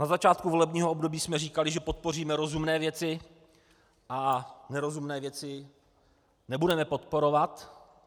Na začátku volebního období jsme říkali, že podpoříme rozumné věci a nerozumné věci nebudeme podporovat.